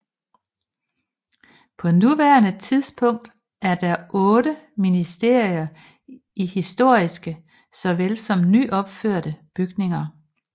På nuværende tidspunk er der otte ministerier i historiske såvel som nyopførte bygninger